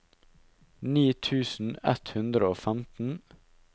ni tusen ett hundre og femten